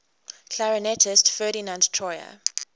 clarinetist ferdinand troyer